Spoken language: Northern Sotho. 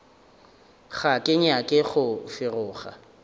ga ke nyake go feroga